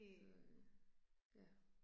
Så øh, ja